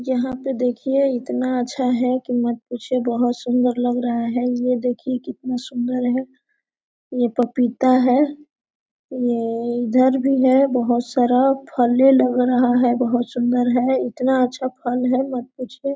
यहां पर देखिए इतना अच्छा है कि मत पूछो बहुत सुंदर लग रहा है ये देखिए कितना सुंदर है ये पपीता है ये एएएए इधर भी है बहुत सारा फले लग रहा है बहुत सुंदर है इतना अच्छा फल है मत पूछिए।